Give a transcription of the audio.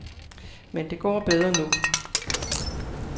Men det går bedre nu.